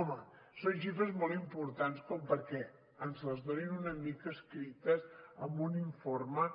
home són xifres molt importants perquè ens les donin una mica escrites amb un informe